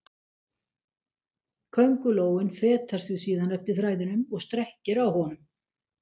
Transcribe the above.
Köngulóin fetar sig síðan eftir þræðinum og strekkir á honum.